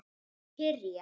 Að kyrja.